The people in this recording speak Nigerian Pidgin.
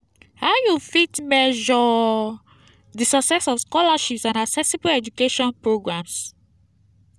how you fit measure di success of scholarships and accessible education programs?